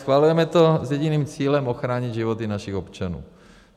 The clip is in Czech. Schvalujeme to s jediným cílem - ochránit životy našich občanů.